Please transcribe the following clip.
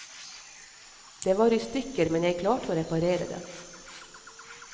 Det var i stykker, men jeg klarte å reparere det.